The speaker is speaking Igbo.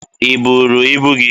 Ị buuru ibu gị?